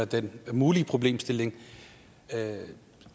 den mulige problemstilling